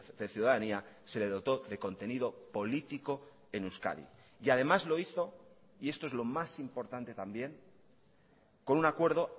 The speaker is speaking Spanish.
de ciudadanía se le dotó de contenido político en euskadi y además lo hizo y esto es lo más importante también con un acuerdo